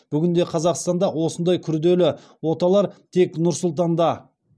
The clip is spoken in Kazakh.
бүгінде қазақстанда осындай күрделі оталар тек нұр сұлтанда